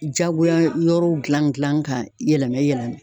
Jagoya yɔrɔw gilan gilan ,ka yɛlɛmɛ yɛlɛmɛ